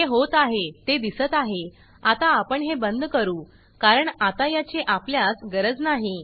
हे होत आहे ते दिसत आहे आता आपण हे बंद करू कारण आता याची आपल्यास गरज नाही